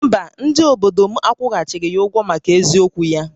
Mba, ndị obodo m akwụghachighị ya ụgwọ maka eziokwu ya